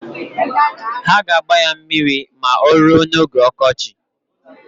Ha g'agba ya mmiri ma oruo n'oge okochi.